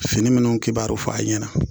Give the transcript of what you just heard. Fini minnu kibaru fɔ a ɲɛna